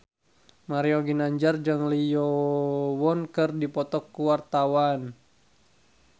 Mario Ginanjar jeung Lee Yo Won keur dipoto ku wartawan